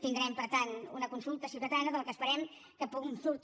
tindrem per tant una consulta ciutadana de la que esperem que en surti